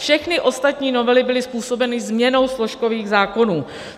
Všechny ostatní novely byly způsobeny změnou složkových zákonů.